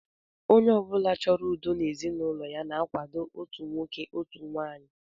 Onye ọ bụla chọrọ udo n'ezinụlọ na-akwado otu nwoke, otu nwaanyị